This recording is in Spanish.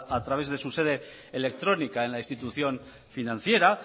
a través de su sede electrónica en la institución financiera